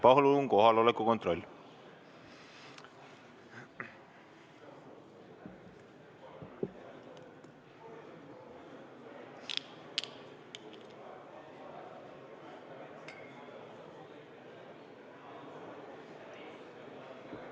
Palun kohaloleku kontroll!